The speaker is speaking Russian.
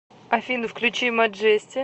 афина включи маджести